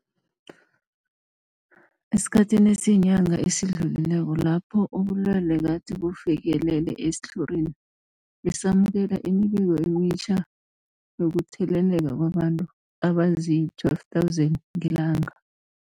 Esikhathini esiyinyanga esidlulileko lapho ubulwele gade bufikelele esitlhorini, besamukela imibiko emitjha yokutheleleka kwabantu abazii-12 000 ngelanga.